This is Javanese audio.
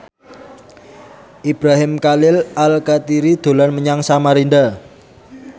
Ibrahim Khalil Alkatiri dolan menyang Samarinda